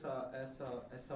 essa essa